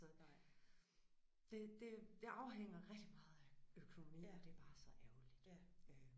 Så det det det afhænger rigtig meget af økonomi og det bare så ærgerligt øh